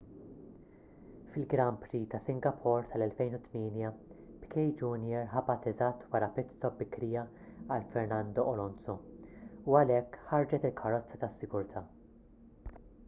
fil-grand prix ta' singapore tal-2008 piquet jr ħabat eżatt wara pit stop bikrija għal fernando alonso u għalhekk ħarġet il-karozza tas-sigurtà